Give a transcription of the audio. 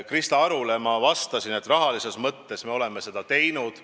Krista Arule ma vastasin, et rahalises mõttes me oleme seda teinud.